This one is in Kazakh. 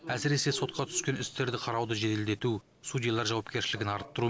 әсіресе сотқа түскен істерді қарауды жеделдету судьялар жауапкершілігін арттыру